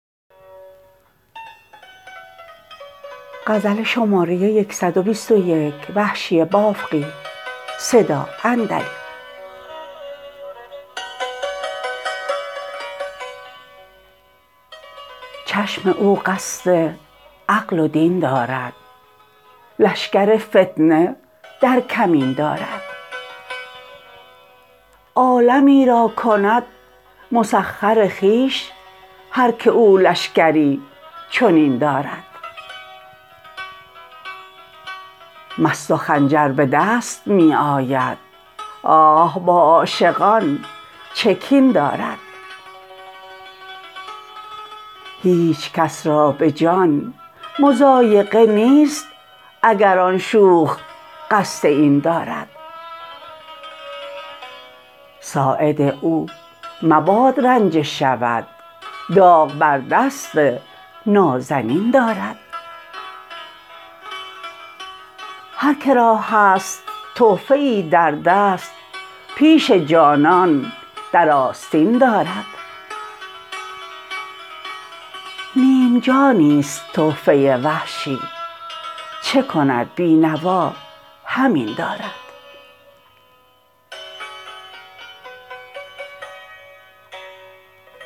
چشم او قصد عقل و دین دارد لشکر فتنه در کمین دارد عالمی را کند مسخر خویش هر که او لشکری چنین دارد مست و خنجر به دست می آید آه با عاشقان چه کین دارد هیچکس را به جان مضایقه نیست اگر آن شوخ قصد این دارد ساعد او مباد رنجه شود داغ بر دست نازنین دارد هر کرا هست تحفه ای در دست پیش جانان در آستین دارد نیم جانی ست تحفه وحشی چه کند بی نوا همین دارد